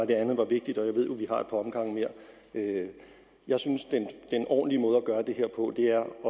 det andet var vigtigt og jeg ved jo vi omgange mere jeg synes den ordentlige måde at gøre det her på er